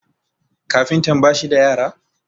kafintan ba shi da yara?